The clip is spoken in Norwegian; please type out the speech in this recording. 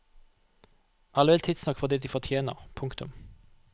Alle vil tidsnok få det de fortjener. punktum